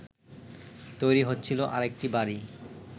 তৈরি হচ্ছিল আরেকটি বাড়ি